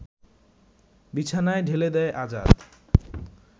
বিছানায় ঢেলে দেয় আজাদ